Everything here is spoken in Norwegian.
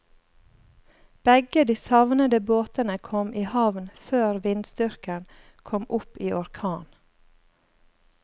Begge de savnede båtene kom i havn før vindstyrken kom opp i orkan.